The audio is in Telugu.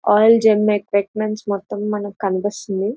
ఆల్ జిమ్ ఎక్విప్మెంట్ మొత్తం మనకు కనిపిస్తుంది.